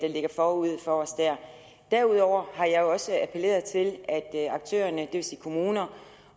ligger forude for os der derudover har jeg jo også appelleret til at aktørerne det vil sige kommuner